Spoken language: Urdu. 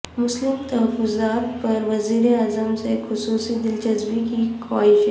مسلم تحفظات پر وزیراعظم سے خصوصی دلچسپی کی خواہش